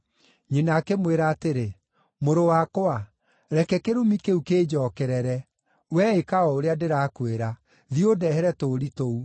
Nyina akĩmwĩra atĩrĩ, “Mũrũ wakwa, reke kĩrumi kĩu kĩnjookerere, wee ĩka o ũrĩa ndĩrakwĩra; thiĩ ũndehere tũũri tũu.”